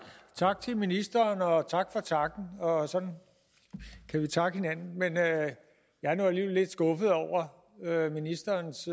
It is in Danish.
tak til ministeren og tak for takken og sådan kan vi takke hinanden men jeg er nu alligevel lidt skuffet over ministerens